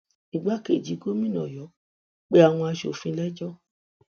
igbákejì gómìnà ọyọ pe àwọn asòfin léjọ